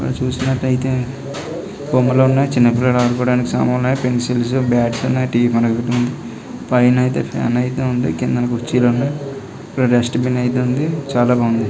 ఇక్కడ చూసినట్లయితే బొమ్మలు ఉన్నాయి. చిన్నపిల్లల ఆడుకోవడాని కి సామాన్లు ఉన్నాయి. పెన్సిల్స్ బ్యాట్స్ ఉన్నాయి. టీ మనకు పైన అయితే ఫ్యాన్ అయితే ఉంది. కిందన కుర్చీలు ఉన్నాయి. ఇక్కడ డస్ట్ బిన్ అయితే ఉంది చాలా బాగుంది.